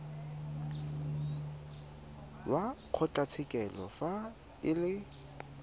wa kgotlatshekelo fa e le